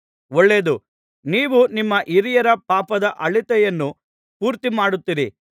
ಒಳ್ಳೆಯದು ನೀವು ನಿಮ್ಮ ಹಿರಿಯರ ಪಾಪದ ಅಳತೆಯನ್ನು ಪೂರ್ತಿಮಾಡುತ್ತೀರಿ